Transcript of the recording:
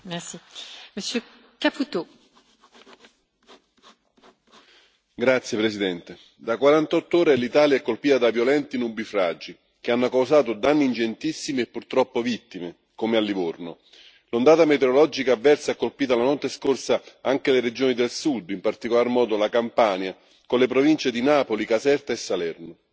Signora Presidente, onorevoli colleghi, da 48 ore l'Italia è colpita da violenti nubifragi che hanno causato danni ingentissimi e purtroppo vittime, come a Livorno. L'ondata meteorologica avversa ha colpito la notte scorsa anche le regioni del Sud, in particolar modo la Campania, con le province di Napoli, Caserta e Salerno.